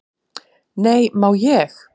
"""Nei, má ég!"""